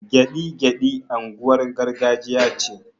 Gyaɗi-gyaɗi unguwar gargajiya ce